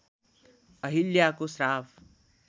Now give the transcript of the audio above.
अहिल्याको श्राप